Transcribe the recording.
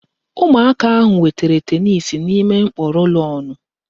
Ụmụaka ahụ wetara tenisi n'ime mkpọ rólónụ̀